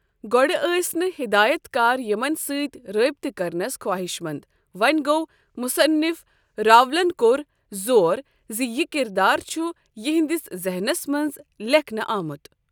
گۅڈٕ ٲسۍ نہٕ ہدایت کار یِمن ستۍ رٲبطٕ کرنس خوٲہشمند وۅنۍ گوٚو مصنف راولن کوٚر زور زِ یہِ کردار چھُ یہنٛدِس ذہنس منٛز لیکھنہٕ آمت۔